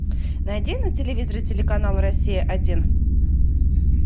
найди на телевизоре телеканал россия один